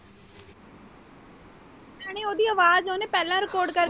ਉਹਦੀ ਆਵਾਜ਼ ਉਹਨੇ ਪਹਿਲਾਂ record ਕਰਕੇ।